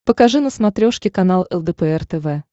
покажи на смотрешке канал лдпр тв